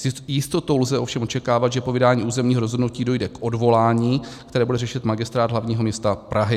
S jistotou lze ovšem očekávat, že po vydání územního rozhodnutí dojde k odvolání, které bude řešit Magistrát hlavního města Prahy.